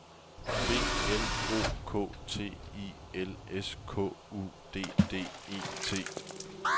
B L O K T I L S K U D D E T